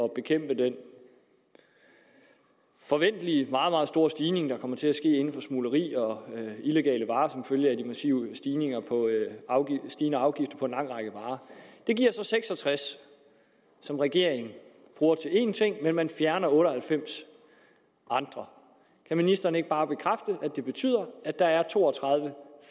bekæmpe den forventelige meget store stigning der kommer til at ske inden for smugleri og illegale varer som følge af de massive stigende stigende afgifter på en lang række varer det giver så seks og tres som regeringen bruger til én ting men man fjerner otte og halvfems andre kan ministeren ikke bare bekræfte at det betyder at der er to og tredive